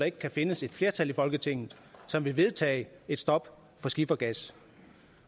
ikke kan findes et flertal i folketinget som vil vedtage et stop for skifergas